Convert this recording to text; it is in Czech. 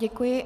Děkuji.